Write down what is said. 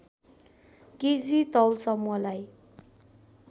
KG तौल समूहलाई